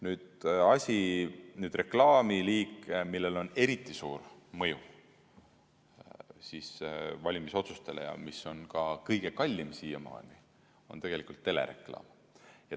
Nüüd reklaamiliik, millel on eriti suur mõju valimisotsustele ja mis on ka kõige kallim siiamaani, on telereklaam.